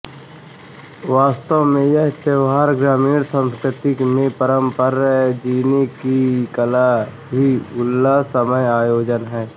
वास्तव में यह त्योहार ग्रामीण संस्कृति में परस्पर जीने की कला का उल्लासमय आयोजन है